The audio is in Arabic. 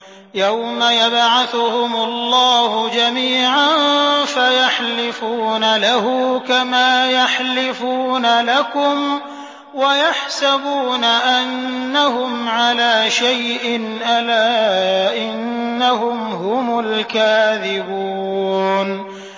يَوْمَ يَبْعَثُهُمُ اللَّهُ جَمِيعًا فَيَحْلِفُونَ لَهُ كَمَا يَحْلِفُونَ لَكُمْ ۖ وَيَحْسَبُونَ أَنَّهُمْ عَلَىٰ شَيْءٍ ۚ أَلَا إِنَّهُمْ هُمُ الْكَاذِبُونَ